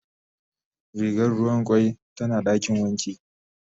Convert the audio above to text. Rigar ruwan kwai tana dakin wanki.